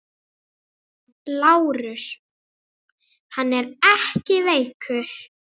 LÁRUS: Hann er ekki veikur!